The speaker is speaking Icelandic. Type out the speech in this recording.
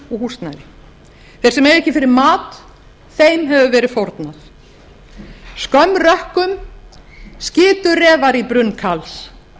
húsnæðið þeir sem eiga ekki fyrir mat þeim hefur verið fórnað skömm rökkum skitu refar í brunn karls